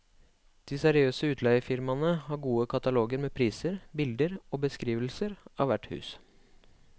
De seriøse utleiefirmaene har gode kataloger med priser, bilder og beskrivelser av hvert hus.